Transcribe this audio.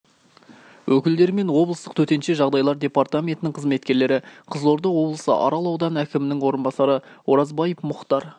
өкілдері мен облыстық төтенше жағдайлар департаментінің қызметкерлері қызылорда облысы арал ауданы әкімінің орынбасары оразбаев мұхтар